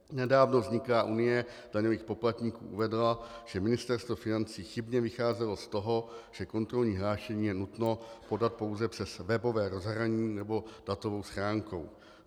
Nedávno vzniklá Unie daňových poplatníků uvedla, že Ministerstvo financí chybně vycházelo z toho, že kontrolní hlášení je nutno podat pouze přes webové rozhraní nebo datovou schránku.